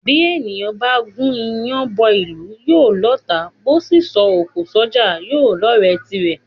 Bí èèyàn bá gún iyán bọ́ ìlú, yóò lọ́ọ̀tá; bó sì ńsọ òkò s’ọ́jà, yóò lọ́ọ̀rẹ́ tirẹ̀.